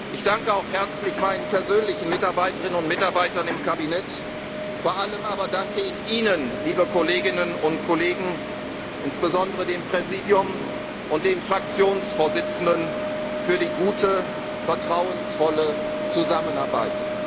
Ich danke auch herzlich meinen persönlichen Mitarbeiterinnen und Mitarbeitern im Kabinett, vor allem aber danke ich Ihnen, liebe Kolleginnen und Kollegen, insbesondere dem Präsidium und den Fraktionsvorsitzenden, für die gute und vertrauensvolle Zusammenarbeit.